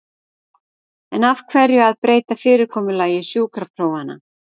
En af hverju að breyta fyrirkomulagi sjúkraprófanna?